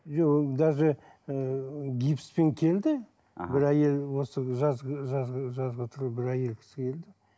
жоқ ол даже ыыы гипспен келді бір әйел осы жазғы жазғы жазғытұрым бір әйел кісі келді